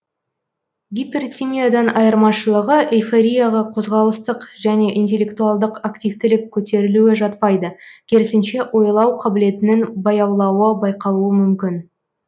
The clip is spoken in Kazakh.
гипертимиядан айырмашылығы эйфорияға қозғалыстық және интеллектуалдық активтілік көтерілуі жатпайды керісінше ойлау қабілетінің баяулауы байқалуы мүмкін